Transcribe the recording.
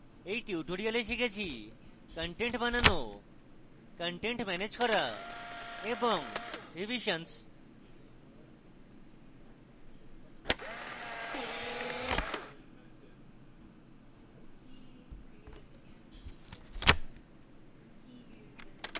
in tutorial আমরা শিখেছি: content বানানো কনটেন্ট ম্যানেজ করা এবং রিভিশনস